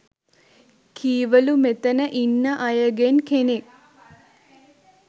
කීවලු මෙතන ඉන්න අයගෙන් කෙනෙක්